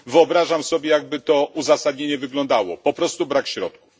Wyobrażam sobie, jak by to uzasadnienie wyglądało po prostu brak środków.